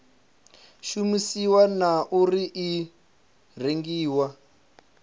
shumisiwa na uri i rengiwa